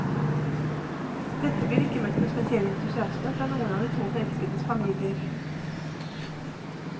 Dette blir ikke møtt med spesiell entusiasme fra noen av de to forelskedes familier.